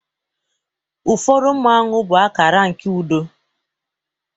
ụfọdụ Mmanwu bụ akara nke udo